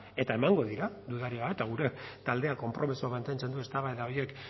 eta emango dira dudarik gabe eta gure taldeak konpromisoa mantentzen du eztabaida horiek